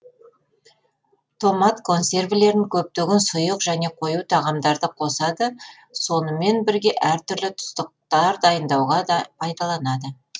томат консервілерін көптеген сұйық және қою тағамдарда қосады сонымен бірге әр түрлі тұздықтар дайындауға да пайдаланады